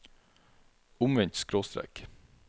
omvendt skråstrek